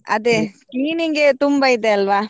ಅದೆ cleaning ಗೆ ತುಂಬ ಇದೆ ಅಲ್ವ.